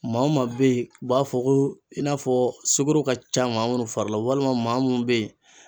Maa o maa be yen u b'a fɔ ko i n'a fɔ sugoro ka ca maa munnu fari la walima maa mun be yen